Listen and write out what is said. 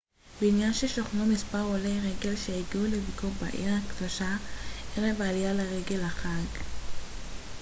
בבניין שוכנו מספר עולי רגל שהגיעו לביקור בעיר הקדושה ערב העלייה לרגל החאג'